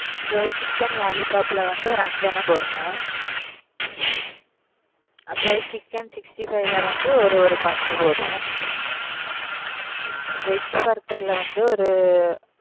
Chicken lollipop ல ஒரு அஞ்சு எண்ணம் போடுங்க, அப்புறம் chicken sixty five ல வந்து ஒரு ஒரு பார்சல் போதும் veg burger ல வந்து ஒரு,